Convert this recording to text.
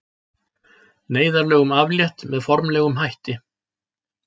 Neyðarlögum aflétt með formlegum hætti